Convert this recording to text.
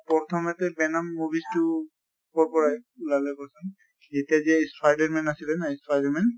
প্ৰথমতে venom movies তো কʼৰ পৰা ওলালে ক্চোন? সেইটা যে spider man আছিলে ন spider man